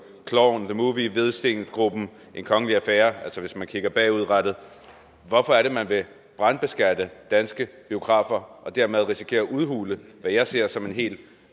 klovn the movie hvidstengruppen en kongelig affære hvis man kigger bagud hvorfor er det man vil brandbeskatte danske biografer og dermed risikere at udhule hvad jeg ser som en helt